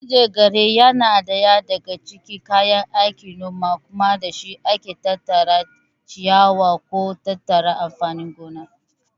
Manjagara na ɗaya daga cikin kayan aikin noma kuma da shi ake tattara ciyawa ko tattaro amfanin gona.